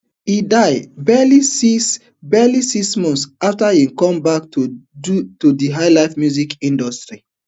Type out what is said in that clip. e die barely six barely six months afta e come back to di highlife music industry